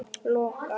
Loka mig þar af.